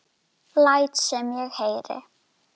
Læt sem ég heyri.